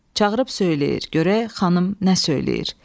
Çağırıb söyləyir, görək xanım nə söyləyir.